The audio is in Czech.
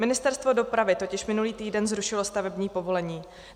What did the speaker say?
Ministerstvo dopravy totiž minulý týden zrušilo stavební povolení.